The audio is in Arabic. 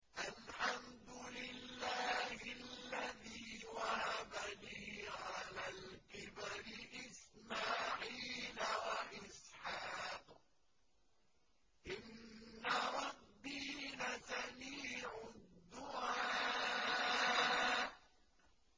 الْحَمْدُ لِلَّهِ الَّذِي وَهَبَ لِي عَلَى الْكِبَرِ إِسْمَاعِيلَ وَإِسْحَاقَ ۚ إِنَّ رَبِّي لَسَمِيعُ الدُّعَاءِ